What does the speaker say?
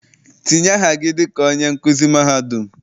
Tinye aha gị dịka onye nkuzi mahadum!